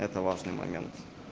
это важный момент